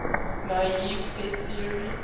naive set theory